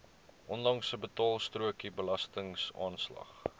onlangse betaalstrokie belastingaanslag